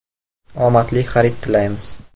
Omadli xarid tilaymiz!